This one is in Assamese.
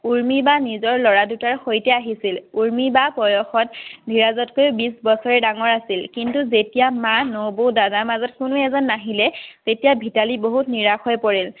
উৰ্মি বা নিজৰ ল'ৰা দুটাৰ সৈতে আহিছিল। উৰ্মি বা বয়সত ধীৰজতকে বিশ বছৰ ডাঙৰে আছিল। কিন্তু যেতিয়া মা নবৌ আৰু দাদাৰ মাজত কোনো এজন নাহিলে তেতিয়া মিতালী বহুত নিৰাশ হৈ পৰিল